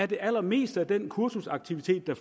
det allermeste af den kursusaktivitet der